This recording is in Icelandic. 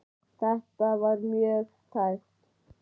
Þetta var mjög tæpt.